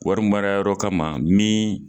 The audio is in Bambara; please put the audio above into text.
Wari mara yɔrɔ kama ma min